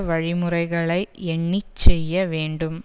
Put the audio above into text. வழிமுறைகளை எண்ணி செய்ய வேண்டும்